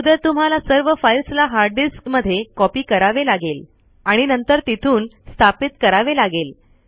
अगोदर तुम्हाला सर्व फ़ाईल्स ला हार्ड डिस्क मध्ये कॉंपी करावे लागेल आणि नंतर तिथून स्थापित करावे लागेल